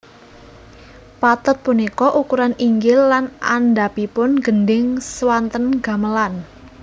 Pathet punika ukuran inggil lan andhapipun gendhing swanten gamelan